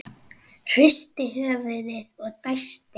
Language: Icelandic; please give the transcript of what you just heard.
Hristir höfuðið og dæsir.